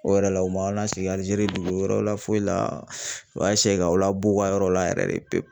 O yɛrɛ la o ma lasegin Alizeri dugu wɛrɛ la foyi la o y'a ka o la b'u ka yɔrɔ la yɛrɛ de pepu